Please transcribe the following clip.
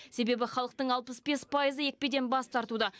себебі халықтың алпыс бес пайызы екпеден бас тартуда